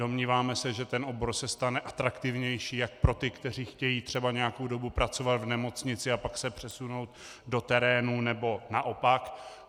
Domníváme se, že ten obor se stane atraktivnější jak pro ty, kteří chtějí třeba nějakou dobu pracovat v nemocnici a pak se přesunou do terénu, nebo naopak.